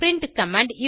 print command